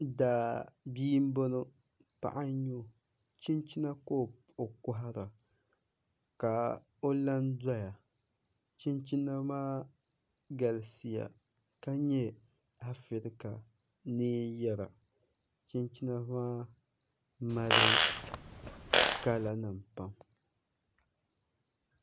Daabia n boŋo paɣa n nyɛ o chinchina ka o kohara ka o la n doya chinchina maa galisiya ka nyɛ afirika neen yɛra chinchina maa mali kala nim pam